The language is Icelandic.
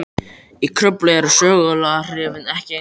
Í Kröflu eru seguláhrifin ekki eins skýr.